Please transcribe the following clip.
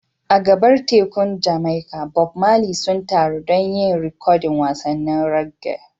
A gabar tekun Jamaica, Bob Marley sun taru don yin rikodin wasannin reggae.